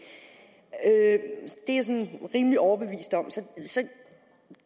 er jeg rimelig overbevist om